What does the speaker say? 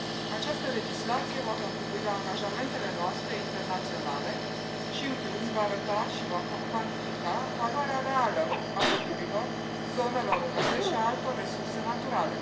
Această legislație va contribui la angajamentele noastre internaționale și, în plus, va arăta și va cuantifica valoarea reală a pădurilor, a zonelor umede și a altor resurse naturale.